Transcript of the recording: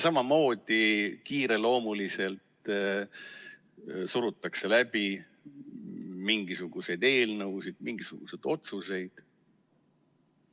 Samamoodi kiireloomuliselt surutakse läbi mingisuguseid eelnõusid, mingisuguseid otsuseid.